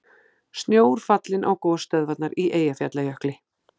Snjór fallinn á gosstöðvarnar í Eyjafjallajökli